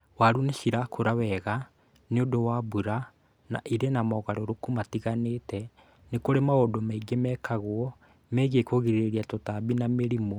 Waru nĩ cirakũra wega nĩũndu wa mbura na ĩrĩ na mogarũrũku matiganĩte. Nĩ kũrĩ maũndũ maingĩ mekagwo megiĩ kũgirĩrĩria tũtambi na mĩrimũ.